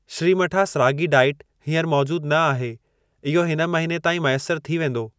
श्रीमठा'स ragi diet हीअंर मौजूद न आहे, इहो हिन महीने ताईं मैसर थी वेंदो।